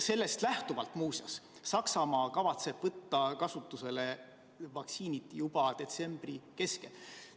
Muuseas, Saksamaa kavatseb vaktsiinid kasutusele võtta juba detsembri keskel.